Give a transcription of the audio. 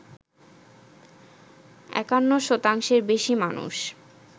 ৫১ শতাংশের বেশি মানুষ